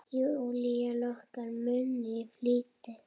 Júlía lokar munni í flýti.